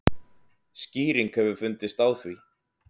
Skýring hefur fundist á því.